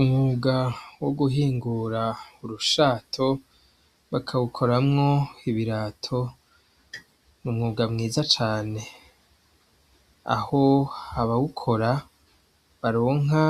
Umwuga wo guhingura urushato bakawukoramwo ibirato ni umwuga mwiza cane aho habawukora baronka